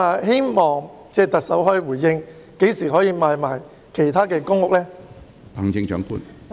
希望特首可以回應，何時才能夠出售其他公共屋邨的單位？